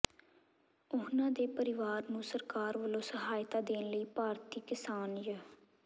ਉਨ੍ਹਾਂ ਦੇ ਪਰਿਵਾਰ ਨੂੰ ਸਰਕਾਰ ਵੱਲੋਂ ਸਹਾਇਤਾ ਦੇਣ ਲਈ ਭਾਰਤੀ ਕਿਸਾਨ ਯ